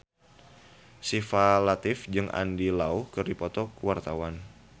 Syifa Latief jeung Andy Lau keur dipoto ku wartawan